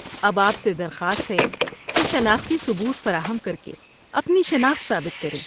اب آپ سے درخواست ہے کہ شناختی ثبوت فراہم کرکے اپنی شناخت ثابت کریں۔